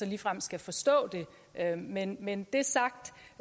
ligefrem skal forstå det men men det sagt